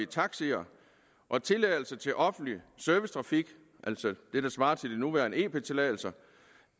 taxier og tilladelser til offentlig servicetrafik altså det der svarer til de nuværende ep tilladelser